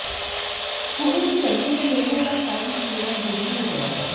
कूड़े की बदबू से लोगों का सांस लेना दूभर हो गया है